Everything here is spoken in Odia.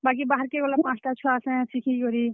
ବାକି ବାହାର୍ କେ ଗଲେ ପାଞ୍ଚଟା ଛୁଆର୍ ସାଙ୍ଗେ ଶିଖି କରି।